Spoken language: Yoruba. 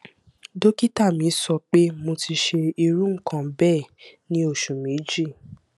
dókítà mi sọ pé mo ti ṣe irú nǹkan bẹẹ ní oṣù méjì